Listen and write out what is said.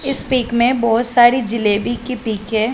इस पिक में बहुत सारी जलेबी की पिक हैं।